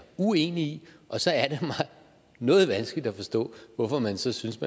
uenig i og så er det noget vanskeligt at forstå hvorfor man så synes